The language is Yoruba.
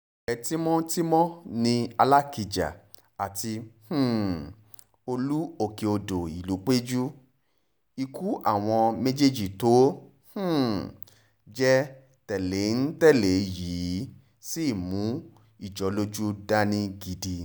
ọ̀rẹ́ tímọ́tímọ́ ni alákijá àti um olú òkè-odò ìlúpẹ̀jù ikú àwọn méjèèjì tó um jẹ́ tẹ̀lé-ń-tẹ̀lé yìí sì mú ìjọlójú dání gidi